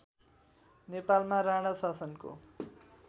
नेपालमा राणा शासनको